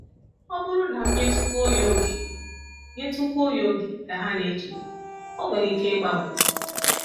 ‘Ọ bụrụ na m nyetụkwuo ya oge nyetụkwuo ya oge, ’ ka ha na-eche, 'ọ nwere ike ịgbanwe.'